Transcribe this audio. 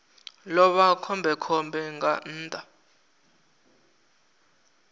ḓo vha khombekhombe nga nnḓa